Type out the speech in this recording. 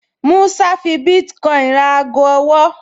Músá fi bítíkọ́ìnì ra ago ọwọ́